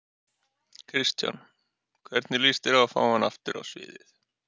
Kristján: Hvernig lýst þér á að fá hann aftur á sviðið?